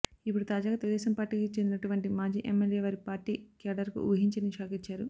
ఇప్పుడు తాజాగా తెలుగుదేశం పార్టీకి చెందినటువంటి మాజీ ఎమ్మెల్యే వారి పార్టీ క్యాడర్ కు ఊహించని షాకిచ్చారు